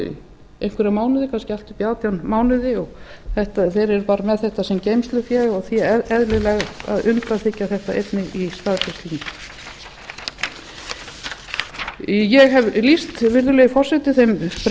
einhverja mánuði kannski allt upp í átján mánuði og verið bara með þetta sem geymslufé og því eðlilegt að undanþiggja þetta einnig í staðgreiðslunni ég hef lýst virðulegi forseti þeim breytingartillögum